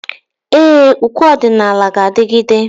Ee, ukwe ọdịnala ga-adigide.